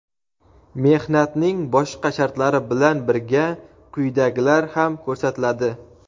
mehnatning boshqa shartlari bilan birga quyidagilar ham ko‘rsatiladi:.